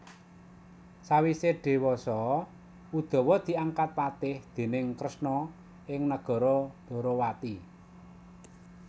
Sawise dhewasa Udawa diangkat patih déning Kresna ing nagara Dwarawati